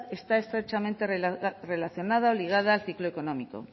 está estrechamente relacionada o ligada al ciclo económico